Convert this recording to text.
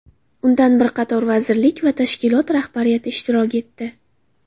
Undan bir qator vazirlik va tashkilot rahbariyati ishtirok etdi.